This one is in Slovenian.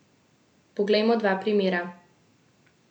Poglejmo dva primera.